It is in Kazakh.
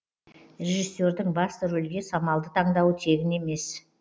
режиссердің басты рөлге самалды таңдауы тегін емес